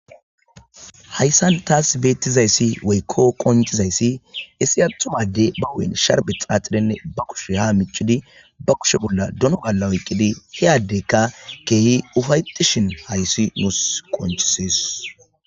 Hayssan tas beetizayssi woykko qonccizayssi issi attuma adde ba huuphen sharbe xaaxidinne ba kushiya ha miccidi ba kushe bolla dono gaala oyqqidi he addekka keehi ufaytishin hayssi nus qoncises.